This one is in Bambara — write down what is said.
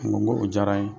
N ko n ko o diyara n ye